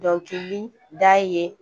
Dɔnkili da ye